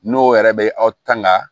N'o yɛrɛ bɛ aw tanga